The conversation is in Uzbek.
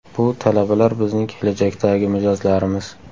Bu talabalar bizning kelajakdagi mijozlarimiz.